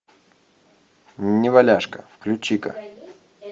неваляшка включи ка